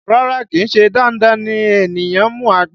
Rárá, kì í ṣe dandan kí ènìyàn mu àgbo